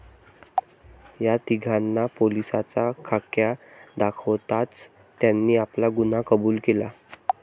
या तीघांना पोलिसांचा खाक्या दाखवताच त्यांनी आपला गुन्हा कबुल केला.